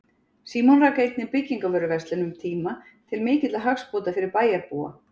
Símon rak einnig byggingavöruverslun um tíma til mikilla hagsbóta fyrir bæjarbúa.